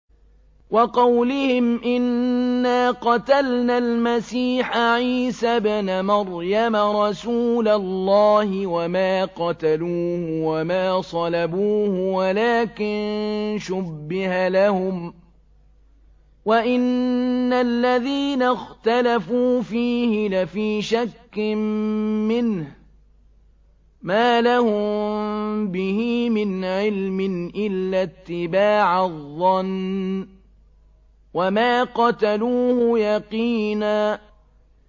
وَقَوْلِهِمْ إِنَّا قَتَلْنَا الْمَسِيحَ عِيسَى ابْنَ مَرْيَمَ رَسُولَ اللَّهِ وَمَا قَتَلُوهُ وَمَا صَلَبُوهُ وَلَٰكِن شُبِّهَ لَهُمْ ۚ وَإِنَّ الَّذِينَ اخْتَلَفُوا فِيهِ لَفِي شَكٍّ مِّنْهُ ۚ مَا لَهُم بِهِ مِنْ عِلْمٍ إِلَّا اتِّبَاعَ الظَّنِّ ۚ وَمَا قَتَلُوهُ يَقِينًا